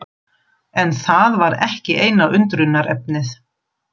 En það var ekki eina undrunarefnið.